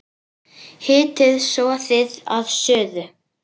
Hitið soðið að suðu.